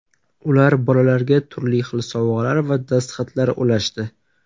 Ular bolalarga turli xil sovg‘alar va dastxatlar ulashdi.